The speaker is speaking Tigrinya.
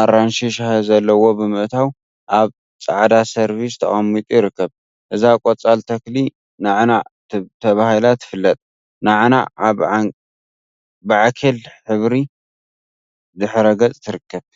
አራንሺ ሻሂ ዘለዎ ብምእታው አብ ፃዕዳ ሰርቪስ ተቀሚጡ ይርከብ፡፡ እዛ ቆፃል ተክሊ ናዕናዕ ተባሂላ ትፍለጥ፡፡ ናዕናዕ አብ ባዕኬል ሕብሪ ድሕረ ገፅ ትርከብ፡፡